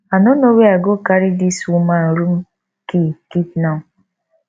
i no know where i go carry dis woman room key keep now